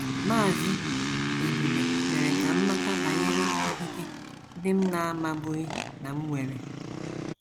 “ Maazị Ebube mere ka m mata banyere ikike ndị m na - amabughị na m nwere.